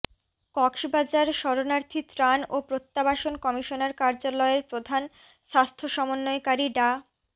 কক্সবাজার শরণার্থী ত্রাণ ও প্রত্যাবাসন কমিশনার কার্যালয়ের প্রধান স্বাস্থ্য সমন্বয়কারী ডা